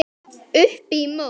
Upp í mót.